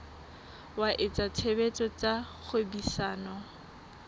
wa etsa tshebetso tsa kgwebisano